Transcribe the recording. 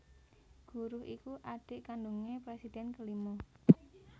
Guruh iku adhik kandungé presiden kelima